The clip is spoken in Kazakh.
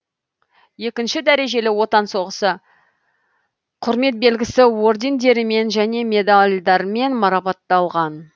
екінші дәрежелі отан соғысы құрмет белгісі ордендерімен және медалдармен марапатталған